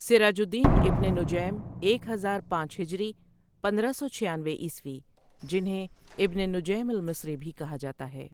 سراج الدين ابن نُجَيْم ایک ہزار پانچ ہجری پندرہ سو چھیانوے عیسوی جنہیں ابن نجیم المصری بھی کہا جاتا ہے ۔